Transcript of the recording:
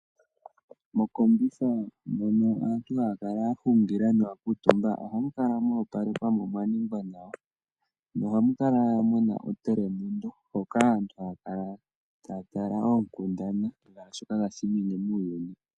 Mokombitha mono aantu haya Kala yahungila noya kutumba oha mukala mopalekwa mo omwaningwa nawa no hamukala muna otelemundo hoka aantu hayakala tayatala okundana sha shoka tashinyenge muuyuni.